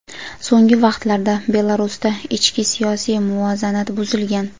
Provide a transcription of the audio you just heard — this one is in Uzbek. so‘nggi vaqtlarda Belarusda ichki siyosiy muvozanat buzilgan.